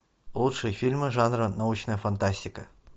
лучшие фильмы жанра научная фантастика